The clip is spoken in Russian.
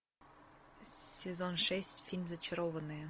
сезон шесть фильм зачарованные